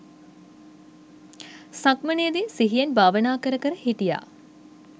සක්මනේදි සිහියෙන් භාවනා කර කර හිටියා.